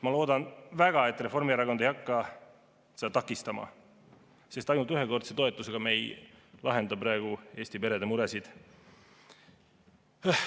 Ma loodan väga, et Reformierakond ei hakka seda takistama, sest ainult ühekordse toetusega me ei lahenda praegu Eesti perede muresid.